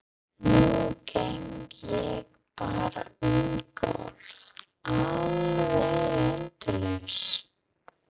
Nú geng ég bara um gólf, alveg endalaust.